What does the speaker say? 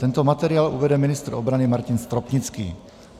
Tento materiál uvede ministr obrany Martin Stropnický.